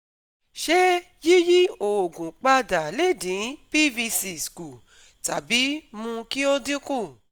Ṣé yíyí oogun padà lè dín PVC s kù tàbí mú kí ó dínkù?